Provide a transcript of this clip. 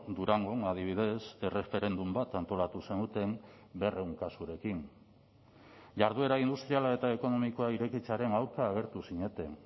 durangon adibidez erreferendum bat antolatu zenuten berrehun kasurekin jarduera industriala eta ekonomikoa irekitzearen aurka agertu zineten